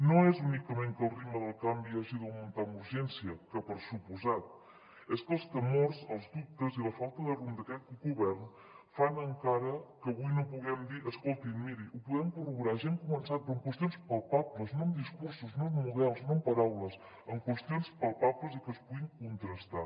no és únicament que el ritme del canvi hagi d’augmentar amb urgència que per descomptat és que els temors els dubtes i la falta de rumb d’aquest govern fan encara que avui no puguem dir escolti miri ho podem corroborar ja hem començat però amb qüestions palpables no amb discursos no amb models no amb paraules amb qüestions palpables i que es puguin contrastar